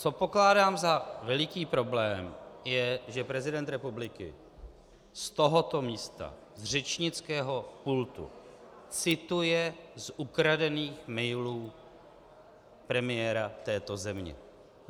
Co pokládám za veliký problém je, že prezident republiky z tohoto místa, z řečnického pultu cituje z ukradených mailů premiéra této země.